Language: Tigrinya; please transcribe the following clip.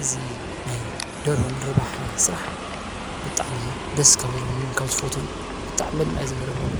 እዙ ናይ ደርሆም ርባሕ ሥራሕ ብጥዕሚ ደስ ካብ ሎንን ካብዝፈቶን ብጥዕ መድ ሚእ ዘገረመሉ